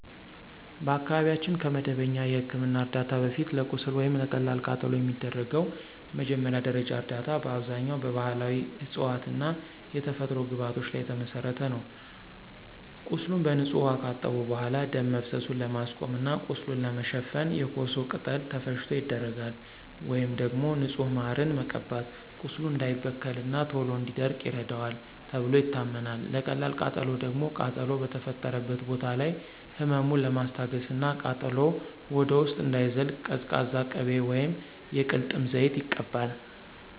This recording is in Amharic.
በአካባቢያችን ከመደበኛ የሕክምና ዕርዳታ በፊት፣ ለቁስል ወይም ለቀላል ቃጠሎ የሚደረገው መጀመሪያ ደረጃ እርዳታ በአብዛኛው በባሕላዊ ዕፅዋትና የተፈጥሮ ግብዓቶች ላይ የተመሠረተ ነው። ቁስሉን በንጹህ ውኃ ካጠቡ በኋላ፣ ደም መፍሰሱን ለማስቆም እና ቁስሉን ለመሸፈን የኮሶ ቅጠል ተፈጭቶ ይደረጋል። ወይም ደግሞ ንጹህ ማርን መቀባት ቁስሉ እንዳይበከልና ቶሎ እንዲደርቅ ይረዳዋል ተብሎ ይታመናል። ለቀላል ቃጠሎ ደግሞ ቃጠሎው በተፈጠረበት ቦታ ላይ ህመሙን ለማስታገስና ቃጠሎው ወደ ውስጥ እንዳይዘልቅ ቀዝቃዛ ቅቤ ወይም የቅልጥም ዘይት ይቀባል።